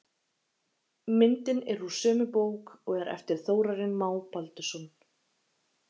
Myndin er úr sömu bók og er eftir Þórarin Má Baldursson.